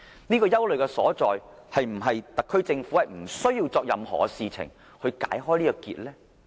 對於這個憂慮，特區政府是否不需要做任何事來解開這個結呢？